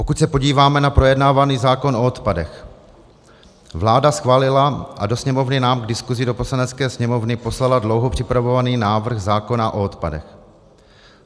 Pokud se podíváme na projednávaný zákon o odpadech, vláda schválila a do Sněmovny nám k diskusi do Poslanecké sněmovny poslala dlouho připravovaný návrh zákona o odpadech.